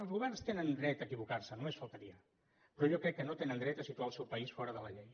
els governs tenen dret a equivocar se només faltaria però jo crec que no tenen dret a situar el seu país fora de la llei